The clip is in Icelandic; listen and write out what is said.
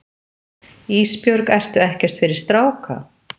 Ísbjörg, ertu ekkert fyrir stráka?